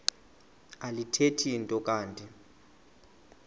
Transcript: alithethi nto kanti